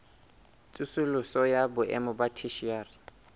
tsosoloso ya boemo ba theshiari